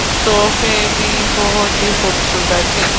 सोफे भी बहुत ही खूबसूरत हैं।